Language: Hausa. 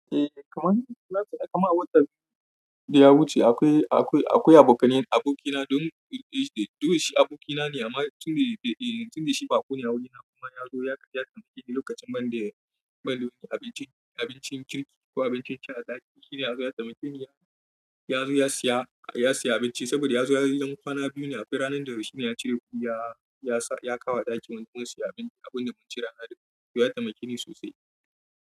Eh, kamar, kamar a watan biyu da ya wuce akwai, akwai, akwai abokanan abokina domin, domin shi abokina ne amma tun dai, tun dai shi baƙo ne a wurina kuma ya zo ya taimake ni lokacin man da, man da abincin, abincin kirki ko abincin ci a ɗaki. Shi yana so ya taimake ni, ya zo ya siya, ya siya abinci saboda ya zo ranar kwana biyu ne aka yi, ranar da shi ne ya cire kuya, ya sa, ya kawo ɗaki don mun siya abinci, abun da mun cira hado. Ya taimake ni sosai.